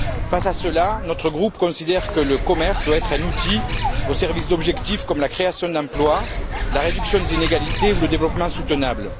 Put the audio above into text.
Face à cela, notre groupe considère que le commerce doit être un outil au service d'objectifs comme la création d'emplois, la réduction des inégalités ou le développement durable.